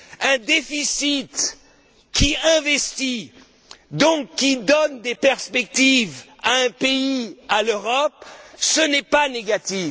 Un déficit qui investit, donc qui donne des perspectives à un pays, à l'Europe, ce n'est pas négatif.